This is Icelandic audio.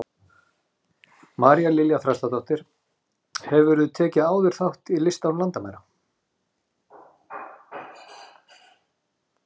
María Lilja Þrastardóttir: Hefurðu tekið áður þátt í List án landamæra?